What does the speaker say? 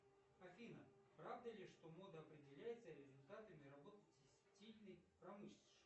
афина правда ли что мода определяется результатами работы текстильной промышленности